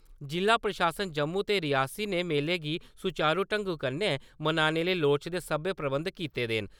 जि'ला प्रशासन जम्मू ते रियासी ने मेले गी सुचारु ढंगै कन्नै मनाने लेई लोड़चदे सब्भै प्रबन्ध कीते दे न ।